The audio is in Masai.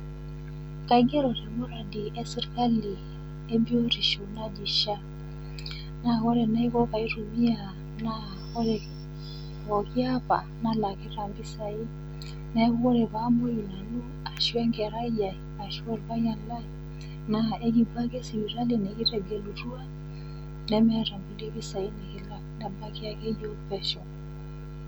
Kaigero nanu te nkipirta e serkali e biotisho naji SHA naa ore enaiko pee aitumia naa ore pooki apa, nalakita impisai. Neaku ore paamoi nanu, ashu enkerai yai ashu olpayian lai, naa ekiwuo ake sipitali nekitegelutua nemeeta kulie pesai nekilak ebaiki ake yook pesho.